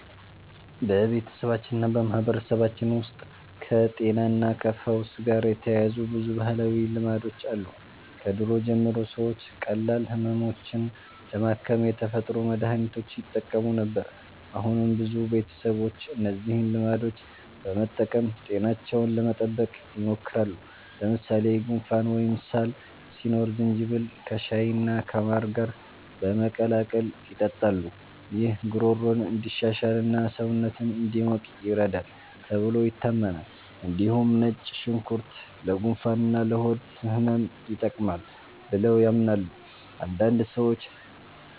በቤተሰባችንና በማህበረሰባችን ውስጥ ከጤናና ከፈውስ ጋር የተያያዙ ብዙ ባህላዊ ልማዶች አሉ። ከድሮ ጀምሮ ሰዎች ቀላል ህመሞችን ለማከም የተፈጥሮ መድሀኒቶችን ይጠቀሙ ነበር። አሁንም ብዙ ቤተሰቦች እነዚህን ልማዶች በመጠቀም ጤናቸውን ለመጠበቅ ይሞክራሉ። ለምሳሌ ጉንፋን ወይም ሳል ሲኖር ዝንጅብል ከሻይና ከማር ጋር በመቀላቀል ይጠጣሉ። ይህ ጉሮሮን እንዲሻሽልና ሰውነትን እንዲሞቅ ይረዳል ተብሎ ይታመናል። እንዲሁም ነጭ ሽንኩርት ለጉንፋንና ለሆድ ህመም ይጠቅማል ብለው ያምናሉ። አንዳንድ ሰዎች